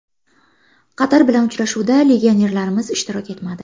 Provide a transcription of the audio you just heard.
Qatar bilan uchrashuvda legionerlarimiz ishtirok etmadi.